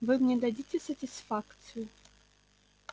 вы мне дадите сатисфакцию